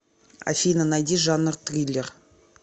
афина найди жанр триллер